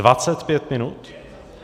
Dvacet pět minut?